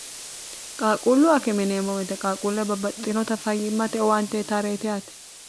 qaaquullu akeme yineemmo woyite qaaquulle babbaxtxinota fayyimmate owaante uyitareetiti yaate